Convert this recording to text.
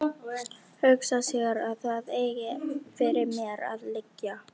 Hugsa sér að það eigi fyrir mér að liggja.